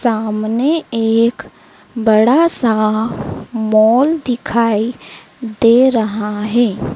सामने एक बड़ा सा मॉल दिखाई दे रहा है।